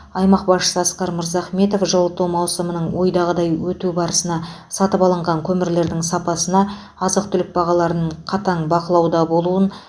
аймақ басшысы асқар мырзахметов жылыту маусымының ойдағыдай өту барысына сатып алынған көмірлердің сапасына азық түлік бағаларын қатаң бақылауда болуын